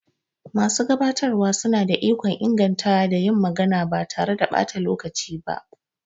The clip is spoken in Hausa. Masu gabatarwa suna da ikon ingantawa da yin magana ba tare da ɓata lokaci ba.